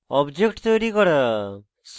object তৈরী করা